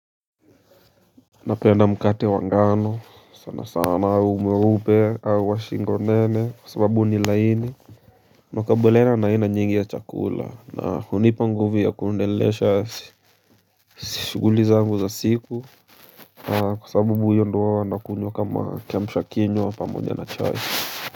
Napenda mkate wa ngano, sana sana, mweupe au shingo nene, sababu ni laini. Mwakabileno na ina nyingi ya chakula, na hunipa nguvu ya kuendelesha shughuli zangu za siku, na kwa sababu huwa ndo na kunyuwa kama kiamsha kinywa pamoja na chai.